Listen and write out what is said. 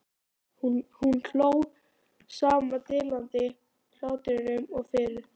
Hún hló sama dillandi hlátrinum og fyrr.